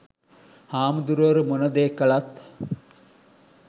හාමුදුරුවරු මොන දේ කළත්